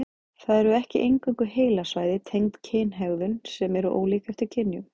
Það eru ekki eingöngu heilasvæði tengd kynhegðun sem eru ólík eftir kynjum.